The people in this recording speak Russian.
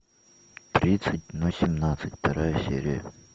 тридцать но семнадцать вторая серия